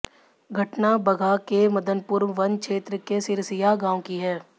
घटना बगहा के मदनपुर वन क्षेत्र के सिरसिया गांव की है